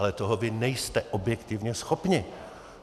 Ale toho vy nejste objektivně schopni!